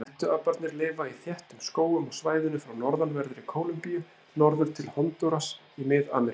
Hettuaparnir lifa í þéttum skógum á svæðinu frá norðanverðri Kólumbíu norður til Hondúras í Mið-Ameríku.